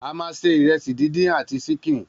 A ma ṣe ìrẹsì díndín àti sínkín.